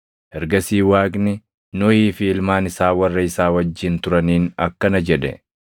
Ergasii Waaqni Nohii fi ilmaan isaa warra isaa wajjin turaniin akkana jedhe;